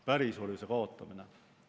Pärisorjuse kaotamine.